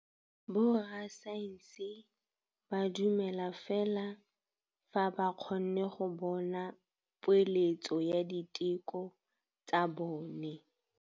Borra saense ba dumela fela fa ba kgonne go bona poeletsô ya diteko tsa bone.